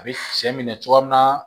A bɛ sɛ minɛ cogoya min na